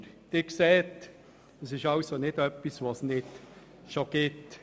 Sie sehen, es ist also nicht etwas, was es nicht bereits gäbe.